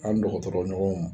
An' dɔgɔtɔrɔ ɲɔgɔnw